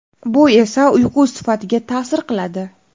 Bu esa uyqu sifatiga ta’sir qiladi.